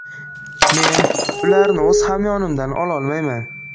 Men ularni o‘z hamyonimdan ololmayman.